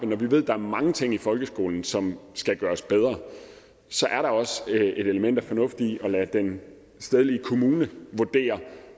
når vi ved at der er mange ting i folkeskolen som skal gøres bedre så er der også et element af fornuft i at lade den stedlige kommune vurdere